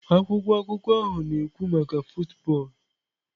Akwụkwọ akụkọ ahụ na-ekwu maka football.